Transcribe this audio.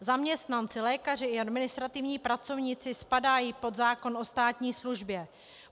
Zaměstnanci, lékaři i administrativní pracovníci spadají pod zákon o státní službě.